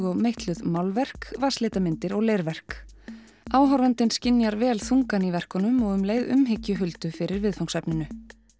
og meitluð málverk vatnslitamyndir og leirverk áhorfandinn skynjar vel þungann í verkunum og um leið umhyggju Huldu fyrir viðfangsefninu